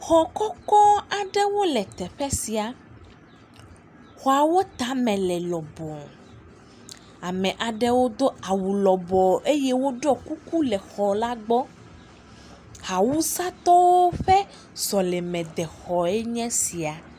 Xɔ kɔkɔ awɖewo le teƒe sia, xɔawo tame le lɔbɔɔ. Ame aɖewo do awu lɔbɔɔ eye wo ɖɔ kuku le xɔ la gbɔ. Awusatɔwo ƒe sɔlemexɔe nye esia.